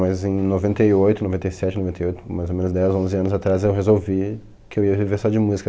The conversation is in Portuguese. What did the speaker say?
Mas em noventa e oito noventa e sete noventa e oito, mais ou menos dez onze anos atrás, eu resolvi que eu ia viver só de música.